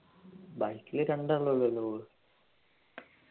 bike ൽ രണ്ടു ആൾ അല്ലെ പോവൂ